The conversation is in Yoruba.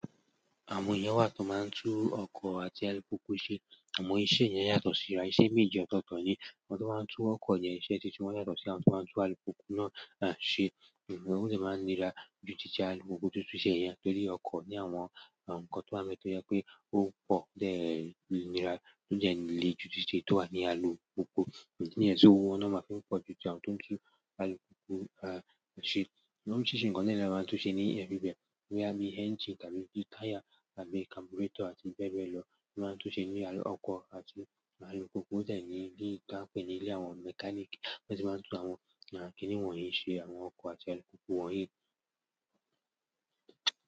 Àwọn èèyàn wà tó máa ń tú ọkọ̀ àti alùpùpù ṣe. Àmọ́ iṣẹ́ yẹn yàtọ̀ síra. Iṣẹ́ méje ọ̀tọ̀ọ̀tọ̀ ni. Àwọn tú ọkọ̀ yẹn, iṣẹ́ titi wọn yàtọ̀ sí àwọn tó ma ń tú alùpùpù náà ṣe. Ó dẹ̀ máa ń nira ju títí alùpùpù tó túṣẹ́ yẹn tó rí ọkọ̀ ní àwọn nǹkan tó wà ńbè tó jẹ́ pé ó pọ̀, tó dẹ̀ nira, tó dẹ̀ le ju títí èyí tó wà ní alùpùpù. Ìdí nì yẹn tí owó wọ́n máa ń fi pọ̀ ju ti àwọn tó ń tú alùpùpù ṣe. Wọ́n sì ń ṣe nǹkan díẹ̀- díẹ̀ ló máa ń tún ṣe ní ẹgbẹgbẹ. Bíi ẹ́ńjìnì tàbí gí táyà tàbí kaburátọ̀ àti bẹ́ẹ̀ bẹ́ẹ̀ lọ. Wọ́n máa ń tún ṣe ní inú ọkọ̀ àti alùpùpù. Lẹ́yìn bí ká pè ní ilé àwọn mẹ́káníìkì bo se máa ń tú àwọn kíní wọ̀nyí ṣe. Àwọn ọkọ̀ àti alùpùpù wọ̀nyí.